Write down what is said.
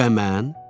Bə mən?